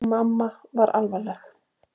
Mamma var alvarleg.